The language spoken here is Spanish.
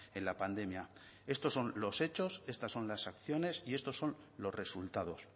en la pandemia estos son los hechos estas son las acciones y estos son los resultados